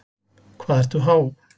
Hvað ertu há?